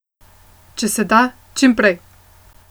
Če se da, čim prej.